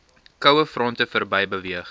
kouefronte verby beweeg